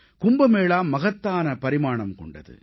கும்ப மேளா மகத்தான பரிமாணம் கொண்டது